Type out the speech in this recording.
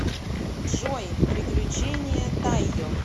джой приключения тайо